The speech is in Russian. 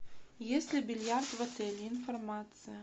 есть ли бильярд в отеле информация